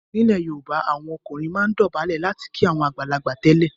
Nílẹ̀ Yorùbá, àwọn ọkùnrin máa ń dọ̀bálẹ̀ láti kí àwọn àgbàlagbà tẹ́lẹ̀.